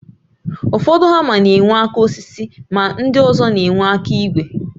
Ụfọdụ hama na enwe aka osisi ma ndị ọzọ na-enwe aka ígwè